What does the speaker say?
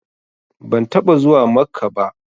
Ban taɓa zuwa Makkah ba